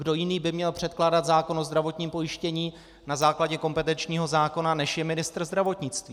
Kdo jiný by měl předkládat zákon o zdravotním pojištění na základě kompetenčního zákona, než je ministr zdravotnictví?